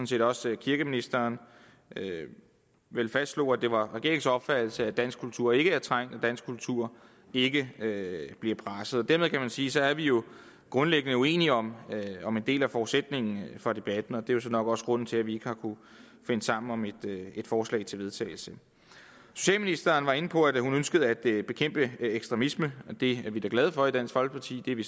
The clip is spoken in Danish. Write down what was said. set også kirkeministeren vel fastslog at det var regeringens opfattelse at dansk kultur ikke er trængt at dansk kultur ikke bliver presset og dermed kan man sige at så er vi jo grundlæggende uenige om om en del af forudsætningen for debatten og det er jo nok også grunden til at vi ikke har kunnet finde sammen om et forslag til vedtagelse socialministeren var inde på at hun ønskede at bekæmpe ekstremisme det er vi da glade for i dansk folkeparti det er vi